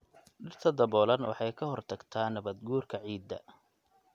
Dhirta daboolan waxay ka hortagtaa nabaadguurka ciidda.